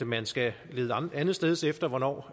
man skal lede andetsteds efter hvornår